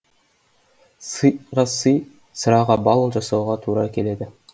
сыйға сый сыраға бал жасауға тура келеді